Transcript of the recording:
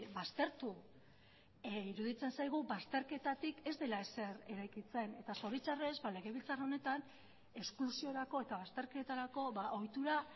baztertu iruditzen zaigu bazterketatik ez dela ezer eraikitzen eta zoritxarrez legebiltzar honetan esklusiorako eta bazterketarako ohitura